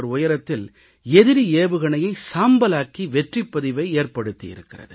உயரத்தில் எதிரி ஏவுகணையை சாம்பலாக்கி வெற்றிப்பதிவை ஏற்படுத்தி இருக்கிறது